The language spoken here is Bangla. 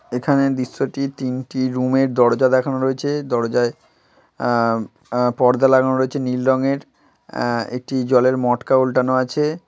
এখানে দৃশ্যটি তিনটি রুমের দরজা দেখানো রয়েছে দরজায় আহ আ পর্দা লাগানো রয়েছে নীল রঙের। আহ একটি জলের মটকা উলটানো আছে।